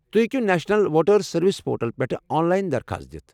تُہۍ ہیٚکِو national voters service portal پٮ۪ٹھہٕ آن لاین درخواست دتھ ۔